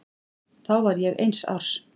Þá var ég eins árs.